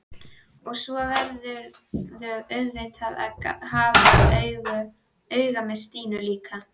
Og svo verðurðu auðvitað að hafa auga með Stínu líka.